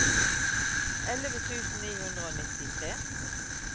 elleve tusen ni hundre og nittitre